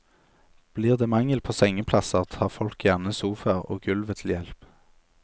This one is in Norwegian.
Blir det mangel på sengeplasser, tar folk gjerne sofaer og gulvet til hjelp.